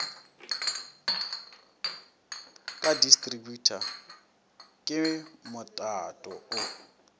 ka distributor ke motato o